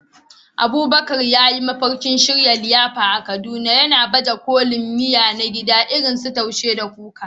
Abubakar yana mafarkin shirya liyafa a Kaduna, yana baje kolin miya na gida irin su Taushe da Kuka.